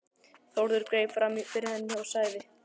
Þórður greip fram fyrir henni og sagði